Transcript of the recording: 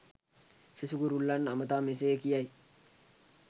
සෙසු කුරුල්ලන් අමතා මෙසේ කියයි.